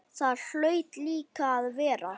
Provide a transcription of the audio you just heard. Það hlaut líka að vera.